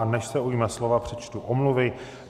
A než se ujme slova, přečtu omluvy.